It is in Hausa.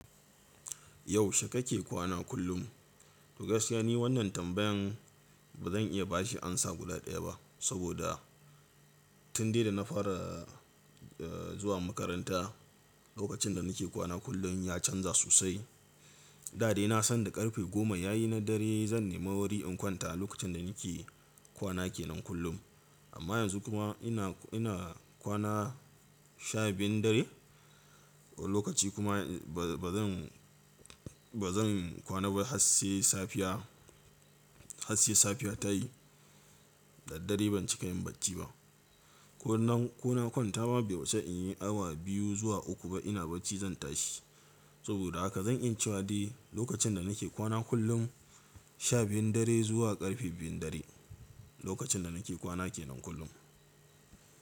Yaushe kake kwana kullum? To gaskiya ne wannan tambayan ba zan iya ba shi amsa guda ɗaya ba. Saboda tun dai da na fara zuwa makaranta lokacin da nake kwana kullum ya canza sosai. Da dai na san da ƙarfe goma yayi na dare zan nema wuri in kwanta lokacin da nake kwana kenan kullum. Amma yanzu kuma ina ina kwana sha biyun dare lokaci kuma ba zan ba zan kwana ba har sai safiya, har sai safiya tayi da dare ban cika yin barci ba. Ko na kwana kwantama bai wuce in yi awa biyu zuwa uku ba ina barci zan tashi. Saboda haka zan iyia cewa dai lokacin da nake kwana kullum sha biyun dare zuwa ƙarfe biyun dare lokacin da nake kwana kenan kullum.